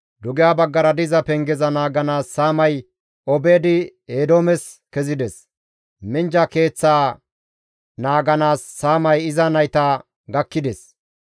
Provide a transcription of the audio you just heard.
Dugeha baggara diza pengeza naaganaas saamay Obeed-Eedoomes kezides; minjja keeththaa naaganaas saamay iza nayta gakkides.